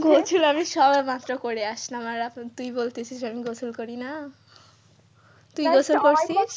গোসল আমি সারা মাসটা করে আসলাম আর এখন তুই বলতেছিস আমি গোসল করি না তুই গোসল করসি?